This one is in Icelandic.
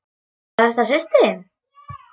Var þetta systir þín?